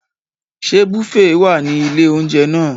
Ṣé bùféè wà ní ilé-oúnjẹ náà?